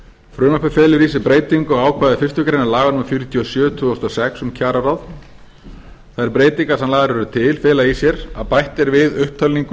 felur í sér breytingu á ákvæði fyrstu grein númer fjörutíu og sjö tvö þúsund níu hundruð níutíu og sex um kjararáð þær breytingar sem lagðar eru til fela í sér að bætt er við upptalningu